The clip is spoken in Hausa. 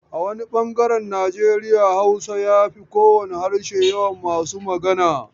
A wani bangaren Nijeriya Hausa ya fi kowane harshe yawan masu magana.